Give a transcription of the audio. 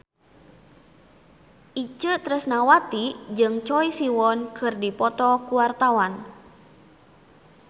Itje Tresnawati jeung Choi Siwon keur dipoto ku wartawan